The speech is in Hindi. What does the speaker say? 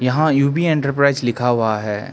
हां यू_बी एंटरप्राइज लिखा हुआ है।